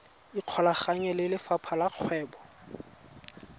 ikgolaganye le lefapha la kgwebo